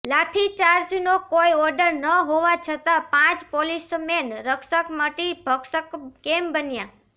લાઠીચાર્જનો કોઈ ઓર્ડર ન હોવા છતા પાંચ પોલીસમેન રક્ષક મટી ભક્ષક કેમ બન્યા